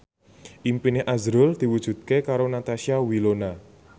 impine azrul diwujudke karo Natasha Wilona